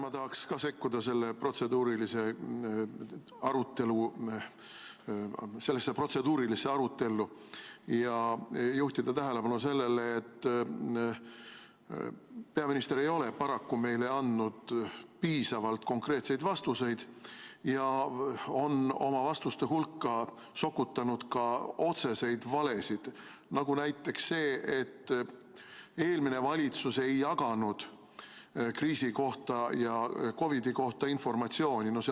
Ma tahaksin ka sekkuda sellesse protseduurilisse arutellu ja juhtida tähelepanu sellele, et peaminister ei ole paraku meile andnud piisavalt konkreetseid vastuseid ja on oma vastuste hulka sokutanud ka otseseid valesid, nagu näiteks see, et eelmine valitsus ei jaganud kriisi kohta ja COVID-i kohta informatsiooni.